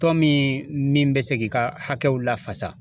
Tɔn min min bɛ se k'i ka hakɛw lafasa.